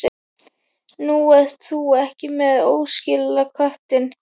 Nú, ert þú ekki með óskilaköttinn?